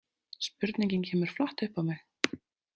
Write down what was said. Spurningin kemur flatt upp á mig.